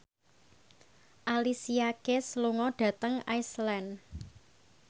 Alicia Keys lunga dhateng Iceland